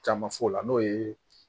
Caman f'o la n'o ye